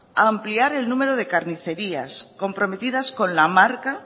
ampliar el número de carnicerías comprometidas con la marca